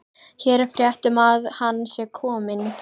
Hér er frétt um að hann sé kominn.